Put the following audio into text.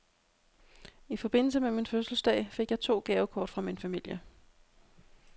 I forbindelse med min fødselsdag fik jeg to gavekort fra min familie.